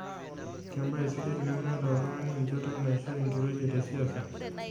Kembaye sidai tenemeeta oltungani enchoto naisho enkiroshi te siaisa.